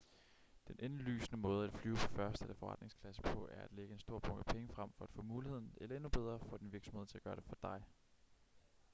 den indlysende måde at flyve på første eller forretningsklasse på er at lægge en stor bunke penge frem for at få muligheden eller endnu bedre få din virksomhed til at gøre det for dig